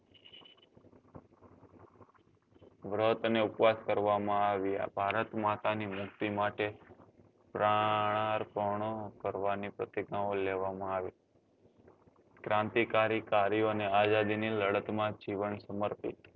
વ્રત અને ઉપવાસ કરવા માં આવ્યા ભારત માતા ની મુક્તિ માટે પ્રનારપનો કરવા ની પ્રતિજ્ઞા લેવા માં આવી ક્રાંતિકારી કર્યો ને આઝાદી ની લડત માં જીવન સમર્પિત